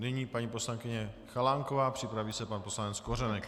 Nyní paní poslankyně Chalánková, připraví se pan poslanec Kořenek.